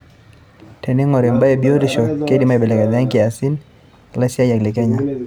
Teneingori imbaa e biotisho, keidim aibelekenya enkias o laisiyiak te Kenya.